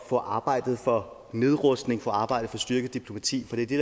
få arbejdet for nedrustning få arbejdet for styrket diplomati for det er det